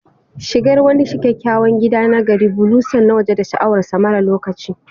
Shigar wani kyakkyawan gida na gari, bulonsa na waje da sha'awar sa maras lokaci